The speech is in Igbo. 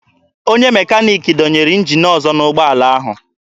Onye mekaniki dọnyere njin ọzọ n'ụgbọala ahụ.